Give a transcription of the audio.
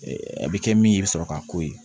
a bɛ kɛ min ye i bɛ sɔrɔ k'a k'o ye